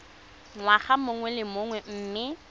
ngwaga mongwe le mongwe mme